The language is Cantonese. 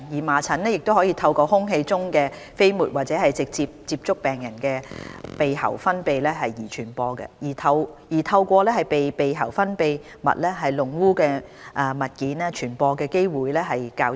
麻疹可透過空氣中的飛沫或直接接觸病人的鼻喉分泌物而傳播，而透過被鼻喉分泌物弄污的物件傳播的機會則較低。